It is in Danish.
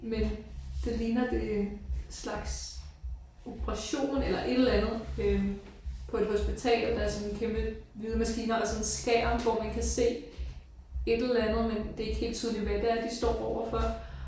Men det ligner det en slags operation eller et eller andet øh på et hospital. Der er sådan en kæmpe hvide maskiner og sådan en skærm hvor man kan se et eller andet men det er ikke helt tydeligt hvad det er de står overfor